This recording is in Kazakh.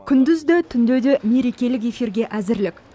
күндіз де түнде де мерекелік эфирге әзірлік